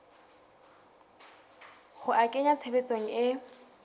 ho a kenya tshebetsong e